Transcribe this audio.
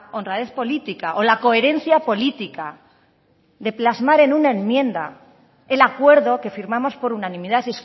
honradez política o la coherencia política de plasmar en una enmienda el acuerdo que firmamos por unanimidad